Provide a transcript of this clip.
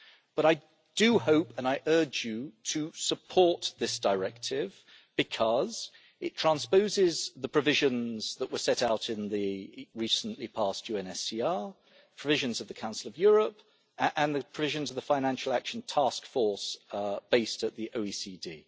But I do hope, and I urge you, to support this directive because it transposes the provisions that were set out in the recently passed UNSCR, provisions of the Council of Europe and the provisions of the Financial Action Task Force based at the OECD.